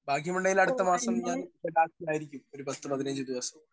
Speaker 1 ഭാഗ്യമുണ്ടെങ്കിൽ അടുത്ത മാസം ഞാൻ ലഡാക്കിലായിരിക്കും. ഒരു പത്ത് പതിനഞ്ച് ദിവസം.